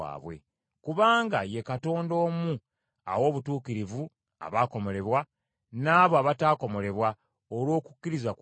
Kubanga ye Katonda omu awa obutuukirivu abaakomolebwa, n’abo abataakomolebwa olw’okukkiriza kwabwe.